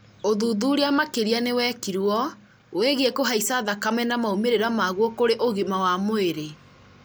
ũthuthuria makĩria nĩ wekirwo wĩgiĩ kũhaica thakame na maumĩrĩra maguo kũrĩ ũgima wa mwĩrĩ